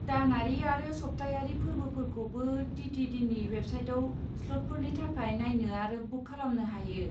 दानारि आरो सप्तायारि फोर्बोफोरखौबो टि.टि.डि.नि वेबसाइटआव स्लटफोरनि थाखाय नायनो आरो बुक खालामनो हायो।